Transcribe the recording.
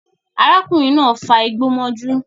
Arákùnrin náà fa igbó mọ́jú